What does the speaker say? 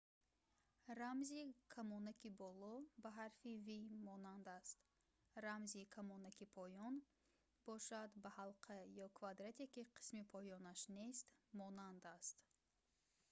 рамзи камонаки боло ба ҳарфи v монанд аст рамзи камонаки поён бошад ба ҳалқа ё квадрате ки қисми поёнаш нест монанд аст